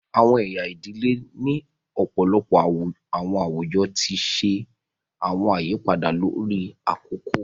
Awọn ẹya ìdílé ni ọpọlọpọ awọn awujọ ti ṣe awọn àyípadà lórí akoko